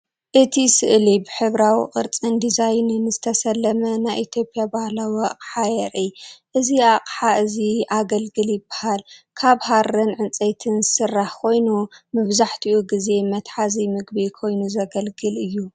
እቲ ስእሊ ብሕብራዊ ቅርጽን ዲዛይንን ዝተሰለመ ናይ ኢትዮጵያ ባህላዊ ኣቅሓ የርኢ። እዚ ኣቕሓ እዚ “ኣገልግል” ይበሃል። ካብ ሃሪን ዕንጨይቲን ዝስራሕ ኮይኑ መብዛሕትኡ ግዜ መትሓዚ ምግቢ ኮይኑ ዘገልግል እይ።